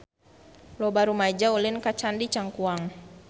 Loba rumaja ulin ka Candi Cangkuang